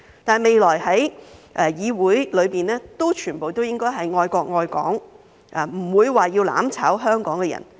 但是，未來在議會內，全部都應該是愛國愛港，不會是要"攬炒"香港的人。